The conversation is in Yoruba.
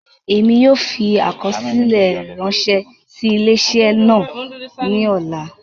Emi yóò fi akọsilẹ ranṣẹ si ile-iṣẹ naa ni ọla.